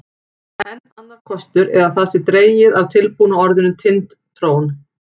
Enn annar kostur er að það sé dregið af tilbúna orðinu Tind-trón.